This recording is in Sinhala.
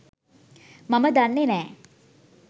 මම දන්නෙ නෑ.